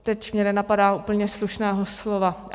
Teď mě nenapadá úplně slušného slova.